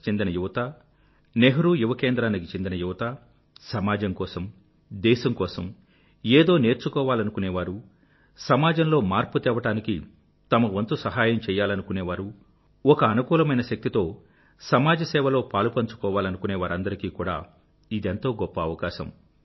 కి చెందిన యువత నెహ్రూ యువ కేంద్రానికి చెందిన యువత సమాజం కోసం దేశం కోసం ఏదో నేర్చుకోవాలనుకునే వారు సమాజంలో మార్పు తేవడానికి తమ వంతు సహాయం చెయ్యలనుకునేవారు ఒక అనుకూలమైన శక్తితో సమాజసేవలో పాలుపంచుకోవాలనుకునే వారందరికీ కూడా ఇదెంతో గొప్ప అవకాశం